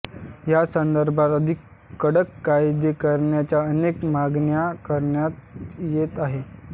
या संदर्भात अधिक कडक कायदे करण्याच्या अनेक मागण्या करण्यात येत आहेत